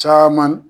Caman